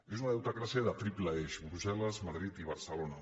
és una deutecràcia de triple eix brusseli barcelona